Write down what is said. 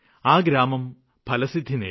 ആ ഗ്രാമം ഫലസിദ്ധി നേടി